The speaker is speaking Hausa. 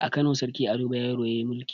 A kano sarki ado bayero yayi mulki